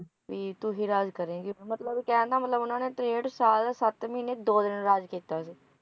ਮਤਲਬ ਕਹਿਣ ਦਾ ਮਤਲਬ ਉਨ੍ਹਾਂ ਨੇ ਤ੍ਰੇਹਠ ਸਾਲ ਸੱਤ ਮਹੀਨੇ ਦੋ ਦਿਨ ਰਾਜ ਕੀਤਾ ਸੀ।